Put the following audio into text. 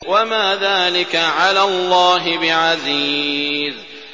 وَمَا ذَٰلِكَ عَلَى اللَّهِ بِعَزِيزٍ